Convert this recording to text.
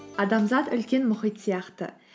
адамзат үлкен мұхит сияқты